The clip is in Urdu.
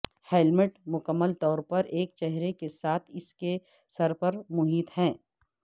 ہیلمیٹ مکمل طور پر ایک چہرے کے ساتھ اس کے سر پر محیط ہے